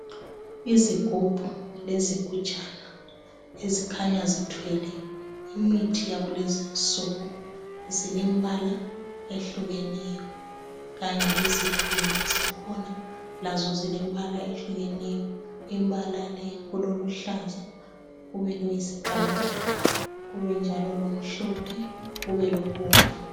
Izigubhu lezigujana ezikhanya zithwele imithi yakulezi insuku. Zilembala ehlukeneyo kanye lezivimbo zakhona. Lazo zilembala ehlukeneyo, imbala le kuloluhlaza kubeloyisibhakabhaka kabe njalo lomhlophe kubelobomvu.